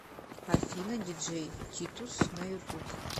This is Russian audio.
афина диджей титус на ютуб